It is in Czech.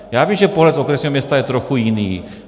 Já vím, že pohled z okresního města je trochu jiný.